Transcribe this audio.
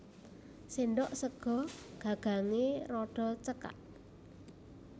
Sendhok sega gagangé rada cekak